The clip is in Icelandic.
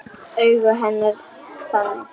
Augu hennar þannig.